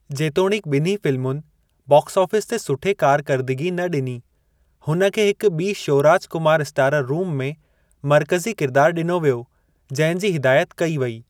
जेतोणीकि ॿिन्ही फ़िलमुनि बाक्स-आफ़ीस ते सुठे कारकर्दिगी न ॾिनी हुन खे हिकु ॿी श्यौराज कुमार स्टारर रूम में मर्कज़ी किरिदारु ॾिनो वियो जंहिं जी हिदायत कई वई।